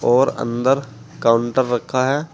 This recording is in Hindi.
और अंदर काउंटर रखा है।